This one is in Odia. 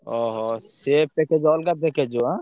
ଅହୋ! ସିଏ package ଅଲଗା package ଯିବ ଏଁ?